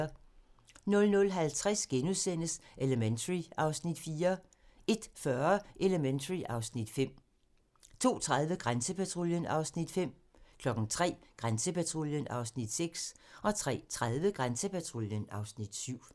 00:50: Elementary (Afs. 4)* 01:40: Elementary (Afs. 5) 02:30: Grænsepatruljen (Afs. 5) 03:00: Grænsepatruljen (Afs. 6) 03:30: Grænsepatruljen (Afs. 7)